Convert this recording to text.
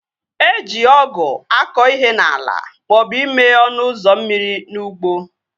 Eji ọgụ akọ ihe n'ala maọbụ ime ọnụ ụzọ mmiri n'ụgbọ